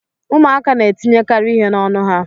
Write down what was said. Ụmụaka na etinyekarị ihe n'ọnụ ha.